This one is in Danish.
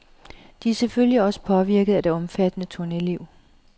De er selvfølgelig også påvirket af det omfattende turneliv.